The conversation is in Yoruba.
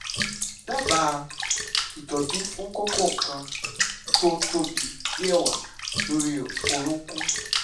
dábàá ìtọ́jú fún kókó kan tó tóbi bí ẹ̀wà lórí orúnkún